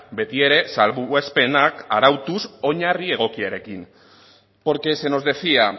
beti ere salbuespenak arautuz oinarri egokiarekin porque se nos decía